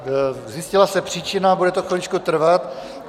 Zjistila se příčina, bude to chviličku trvat.